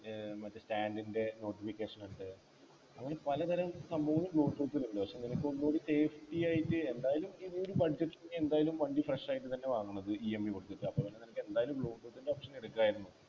ഏർ മറ്റേ stand ൻ്റെ notification ഉണ്ട് അങ്ങനെ പലതരം സംഭവങ്ങളും Bluetooth ൽ ഉണ്ട് പക്ഷേ നിനക്ക് ഒന്നുകൂടെ safety എന്തായാലും ഇതൊരു budget നീ എന്തായാലും വണ്ടി fresh ആയിട്ട് തന്നെ വാങ്ങണം EMI കൊടുത്തിട്ട് അപ്പൊ പിന്നെ നിനക്കെന്തായാലും Bluetooth ൻ്റെ Option എടുക്കായിരുന്നു